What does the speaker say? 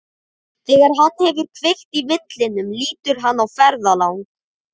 Þegar hann hefur kveikt í vindlinum lítur hann á ferðalang.